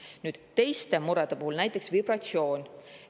Nüüd, teised mured, näiteks vibratsioon.